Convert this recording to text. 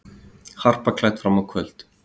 Harpa klædd fram á kvöld